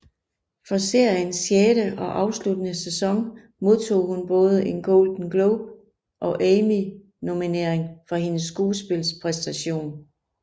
For seriens sjette og afsluttende sæson modtog hun både en Golden Globe og Emmy nominering for hendes skuespilspræstation